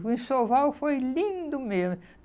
O enxoval foi lindo mesmo.